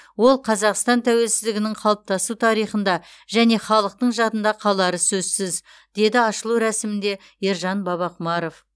ол қазақстанның тәуелсіздігінің қалыптасу тарихында және халықтың жадында қалары сөзсіз деді ашылу рәсімінде ержан бабақұмаров